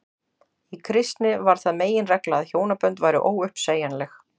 í kristni varð það meginregla að hjónabönd væru óuppsegjanleg